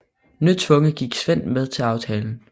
Nødtvunget gik Sven med til aftalen